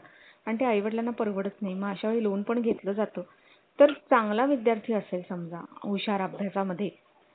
आणि आई वडिलांना परवडत नाही मग अशा वेळी lone पण घेतल जातो तर चांगला विद्यार्थी असेल समजा हुशार अभ्य्सा मदे